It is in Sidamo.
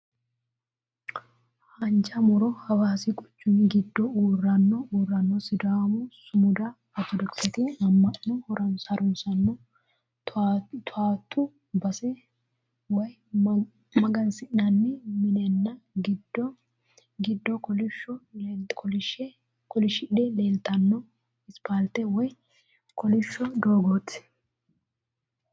Haanja mu'ro, hawaasi quchumu giddo uurrino uurrino sidaamu sumuda, ortodokisete amma'no harunsaano taawootu base woy magansi'nanni minenna giddo giddo kolishidhe leeltanno asipaalte woy kolishsho doogooti.